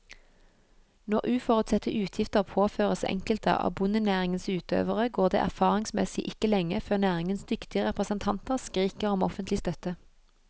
Når uforutsette utgifter påføres enkelte av bondenæringens utøvere, går det erfaringsmessig ikke lenge før næringens dyktige representanter skriker om offentlig støtte.